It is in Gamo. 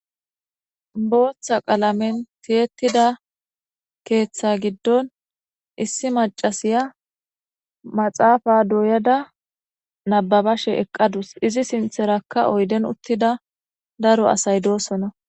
Booththa qalamen tiyettida keeththa giddon issi macasiya maxaafa duuyada nababashe eqqadus izi sintherakka oyden uttida daro asay doosona.